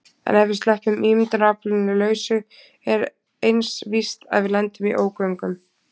En ef við sleppum ímyndunaraflinu lausu er eins víst að við lendum í ógöngum.